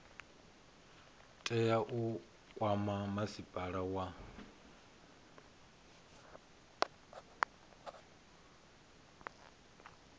tea u kwama masipala wa